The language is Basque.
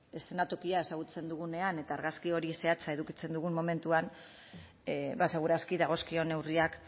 eszenatokia ezagutzen dugunean eta argazki hori zehatza edukitzen dugun momentuan bada segur aski dagozkion neurriak